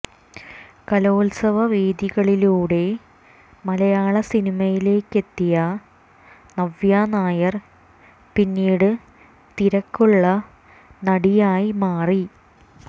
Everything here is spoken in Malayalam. കലോത്സവ വേദികളിലൂടെ മലയാള സിനിമയിലേക്കെത്തിയ നവ്യ നായർ പിന്നീട് തിരക്കുള്ള നടിയായി മാറി